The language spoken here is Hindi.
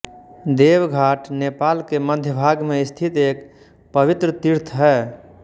देवघाट नेपाल के मध्यभाग में स्थित एक पवित्र तीर्थ है